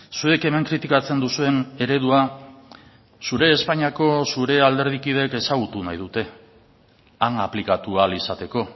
zuek hemen kritikatzen duzuen eredua zure espainiako zure alderdikideek ezagutu nahi dute han aplikatu ahal izateko